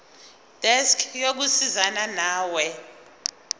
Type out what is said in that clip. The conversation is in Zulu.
desk yokusizana nawe